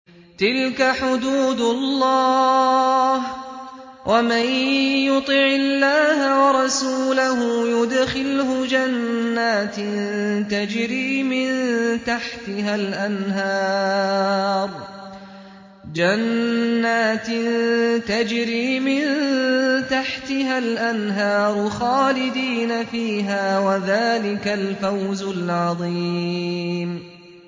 تِلْكَ حُدُودُ اللَّهِ ۚ وَمَن يُطِعِ اللَّهَ وَرَسُولَهُ يُدْخِلْهُ جَنَّاتٍ تَجْرِي مِن تَحْتِهَا الْأَنْهَارُ خَالِدِينَ فِيهَا ۚ وَذَٰلِكَ الْفَوْزُ الْعَظِيمُ